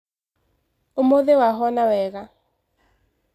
Ũmũthi wahona wega